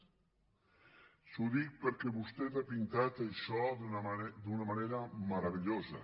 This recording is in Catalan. això ho dic perquè vostè ha pintat això d’una manera meravellosa